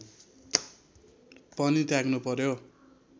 पनि त्याग्नु पर्‍यो